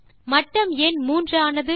மட்டம் ஏன் 3 ஆனது